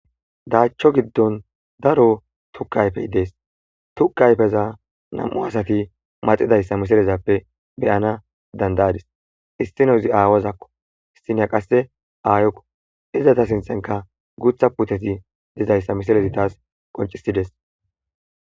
"Daacho giddon daro tukke ayfey dees, Tukke ayfeza nam7u asati maxizaysa misilezappe be7ana danda7adis, Issinozi aawazakko issiniya qasse aayokko, Izeta sinthankka guutha puuteti dizaysa misilezi taas qonccisides."